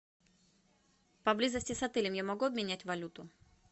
поблизости с отелем я могу обменять валюту